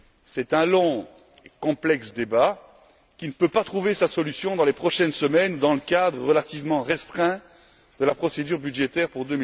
C'est un débat long et complexe qui ne peut pas trouver sa solution dans les prochaines semaines dans le cadre relativement restreint de la procédure budgétaire pour